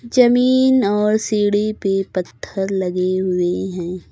जमीन और सीढ़ी पे पत्थर लगे हुए हैं।